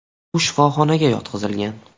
U shifoxonaga yotqizilgan.